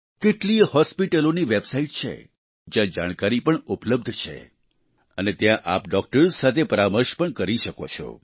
કેટલીયે હોસ્પિટલોની વેબસાઈટ છે જ્યાં જાણકારી પણ ઉપલબ્ધ છે અને ત્યાં આપ ડોક્ટર્સ સાથે પરામર્શ પણ કરી શકો છો